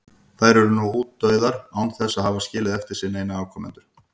Þær eru nú útdauða án þess að hafa skilið eftir sig neina afkomendur.